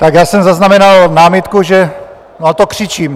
Tak já jsem zaznamenal námitku, že... no, a to křičím.